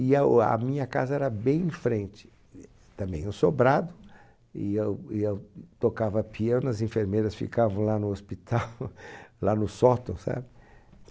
E a minha casa era bem em frente, também um sobrado, e eu e eu tocava piano, as enfermeiras ficavam lá no hospital, lá no sótão, sabe?